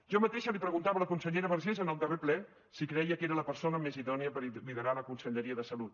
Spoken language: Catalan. jo mateixa li preguntava a la consellera vergés en el darrer ple si creia que era la persona més idònia per liderar la conselleria de salut